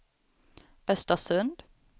Östersund